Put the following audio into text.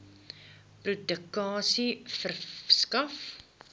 publikasie verskaf